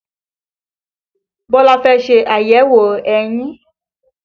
Bọlá fẹ́ ṣe àyẹ̀wò eyín